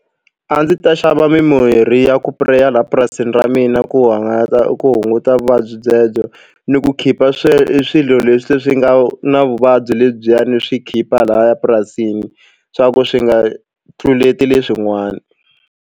A ndzi ta xava mimirhi ya ku pureya laha purasini ra mina ku hangalata ku hunguta vuvabyi byebyo ni ku khipa swe swilo leswi swi nga na vuvabyi lebyiya ni swi khipa lahaya purasini swa ku swi nga tluleti leswin'wana.